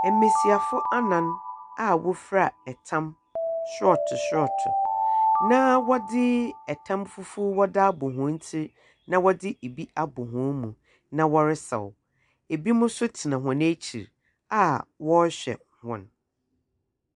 Mbesiafo anan a wɔfira tam sorɔtow sorɔtow, na wɔdze tam fufuw dze abɔ hɔn tsir na wcdzi bi abɔ hɔn mu, na wɔresaw. Binom nso tena hɔn ekyir a wɔrehwɛ hɔn.